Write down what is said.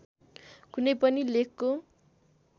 कुनै पनि लेखको